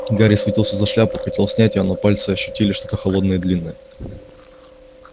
гарри схватился за шляпу хотел снять её но пальцы ощутили что-то холодное длинное